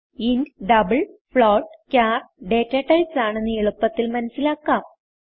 int double float char data types ആണെന്ന് എളുപ്പത്തിൽ മനസിലാക്കാം